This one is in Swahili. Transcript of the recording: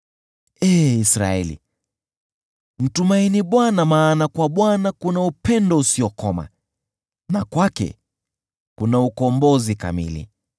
Ee Israeli, mtumaini Bwana , maana kwa Bwana kuna upendo usiokoma, na kwake kuna ukombozi kamili.